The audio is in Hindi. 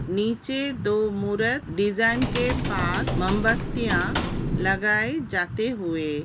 नीचे दो मूरत डिजाइन के पास मोमबत्तियां लगाये जाते हुए।